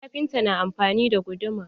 Kafinta na amfani da guduma.